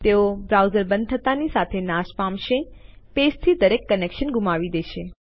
તેઓ બ્રાઉઝર બંધ થતા ની સાથે નાશ પામશે પેજથી દરેક કનેક્શન ગુમાવી દેશે